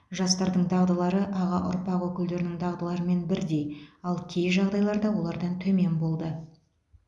жастардың дағдылары аға ұрпақ өкілдерінің дағдыларымен бірдей ал кей жағдайларда олардан төмен болды